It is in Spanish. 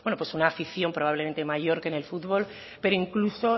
una afición probablemente mayor que en el fútbol pero incluso